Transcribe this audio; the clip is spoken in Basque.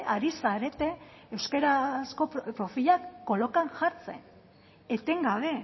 hari zarete euskarazko profilak kolakan jartzen etengabe